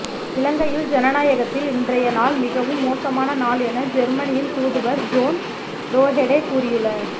இலங்கையில் ஜனநாயகத்தில் இன்றைய நாள் மிகவும் மோசமான நாள் என ஜேர்மனியின் தூதுவர் ஜோர்ன் ரோஹெடே கூறியுள